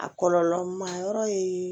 A kɔlɔlɔ ma yɔrɔ ye